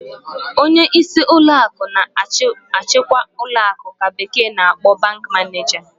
Onyeisi ụlọ akụ na-achikwa ụlọ akụ ka bekee na-akpọ 'bank manager.'